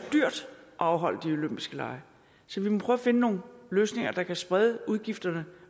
afholde de olympiske lege så vi må prøve at finde nogle løsninger der kan sprede udgifterne